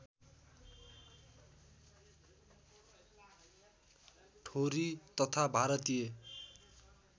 ठोरी तथा भारतीय